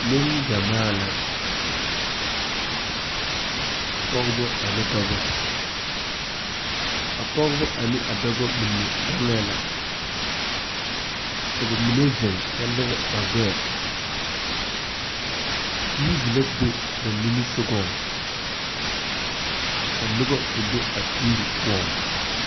Neŋgyamaa la pɔgebɔ ane dɔbɔ a pɔgebɔ ane a dɔbɔ mine gaŋɛɛ la ka ba mine zeŋ kyɛ lire ba gbɛɛ teevi la be ba nimisugɔŋ ka nobɔ kpɛ be a teevi poɔŋ.